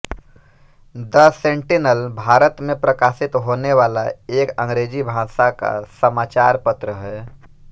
the Sentinel Bharat मे प्रकाशित होने वाला एक अंग्रेजी भाषा का समाचार पत्र है